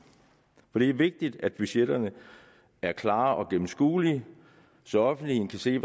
det er vigtigt at budgetterne er klare og gennemskuelige så offentligheden kan se